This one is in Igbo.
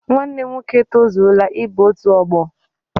Nwanne m nwoke etozuola ịba otu ọgbọ.